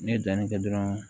Ne ye danni kɛ dɔrɔn